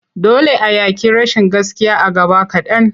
Dole a yaƙi rashin gaskiya a gaba kaɗan.